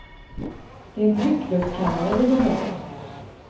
Det är en tryckluftskammare vi behöver.